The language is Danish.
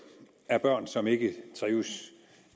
af børn som ikke trives